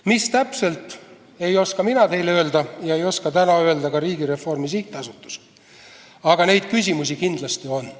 Mis täpselt, ei oska mina teile öelda ega oska täna öelda ka Riigireformi SA, aga neid küsimusi kindlasti on.